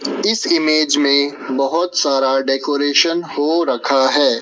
इस इमेज में बहोत सारा डेकोरेशन हो रखा है।